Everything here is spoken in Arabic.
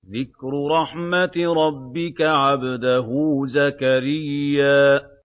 ذِكْرُ رَحْمَتِ رَبِّكَ عَبْدَهُ زَكَرِيَّا